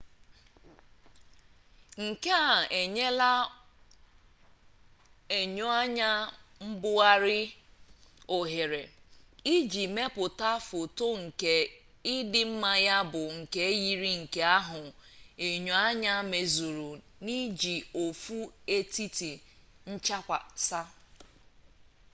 nke a enyela enyoanya mbugharị ohere iji mepụta foto nke ịdị mma ya bụ nke yiri nke ahụ enyoanya mezuru n'iji ofu etiti nchakwasa